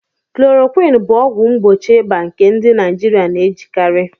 Klorokwin bụ ọgwụ mgbochi ịba nke ndị Naijiria na-ejikarị